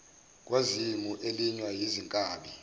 kwazimu elinywa yizinkabi